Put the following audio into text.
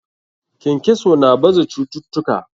Kenkeso na baza cututtuka.